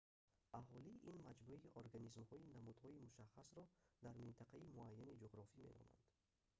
аҳолӣ ин маҷмӯи организмҳои намудҳои мушаххасро дар минтақаи муайяни ҷуғрофӣ меноманд